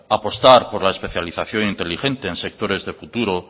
apostar por la especialización inteligente en sectores de futuro